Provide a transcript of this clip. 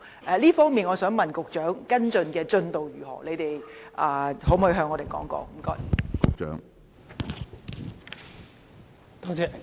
在這方面，我想問局長，跟進的進度如何，可否告訴我們？